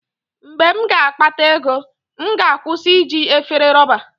Mgbe m ga-akpata ego, m ga-akwụsị iji efere rọba.